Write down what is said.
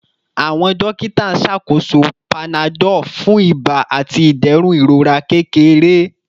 Awọn dokita n ṣakoso panadol fun iba ati iderun irora kekere